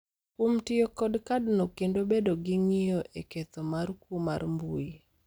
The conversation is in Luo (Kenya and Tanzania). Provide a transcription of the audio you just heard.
kuom tiyo kod kadno kendo bedo gi ng’iyo e ketho mar kuo mar mbui,